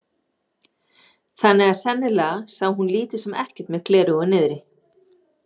Þannig að sennilega sá hún lítið sem ekkert með gleraugun niðri.